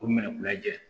K'u minɛ k'u lajɛ